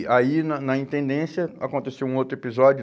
E aí, na na intendência, aconteceu um outro episódio.